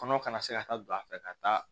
Kɔnɔ kana se ka taa don a fɛ ka taa